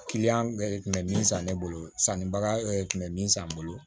kun bɛ min san ne bolo sannibaga tun bɛ min san n bolo